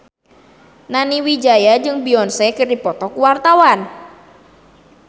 Nani Wijaya jeung Beyonce keur dipoto ku wartawan